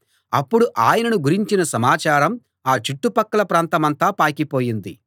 అప్పుడు ఆయనను గురించిన సమాచారం ఆ చుట్టుపక్కల ప్రాంతమంతా పాకిపోయింది